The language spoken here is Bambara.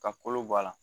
Ka kolo bɔ a la